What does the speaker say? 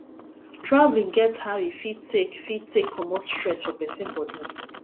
travelling get how e fit take fit take comot stress for person body